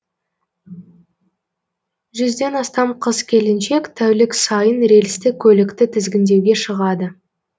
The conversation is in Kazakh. жүзден астам қыз келіншек тәулік сайын рельсті көлікті тізгіндеуге шығады